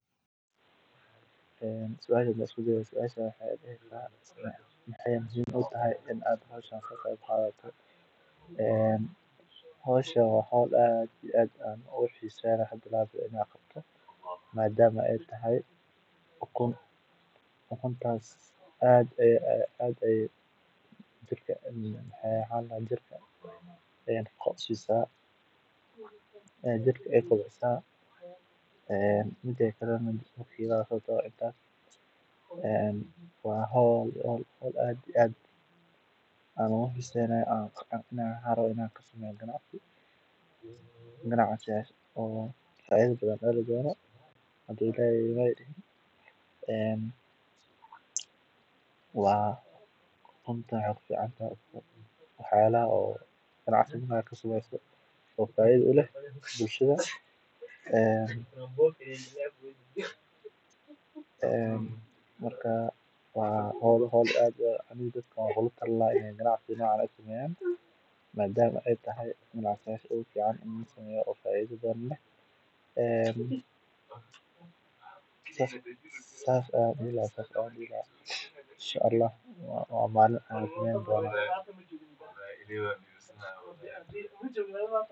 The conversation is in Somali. aasaasiga ah ee bulshada u baahan tahay. Waxay dadaal badan geliyaan beerista dalagyada kala duwan sida hadhuudhka, khudaarta, miraha iyo cuntooyinka kale ee dabiiciga ah, taasoo gacan ka geysata horumarinta dhaqaalaha iyo sugnaanta cunada. Intaa waxaa dheer, beeraleydu waxay la tacaalaan caqabado badan sida isbedelka cimilada, abaaraha, iyo helitaanka suuqyo fiican oo ay wax ku iibiyaan. Si kastaba ha ahaatee, shaqadooda adag